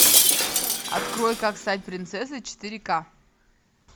открой как стать принцессой четыре ка